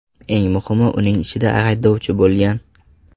Eng muhimi uning ichida haydovchi bo‘lgan.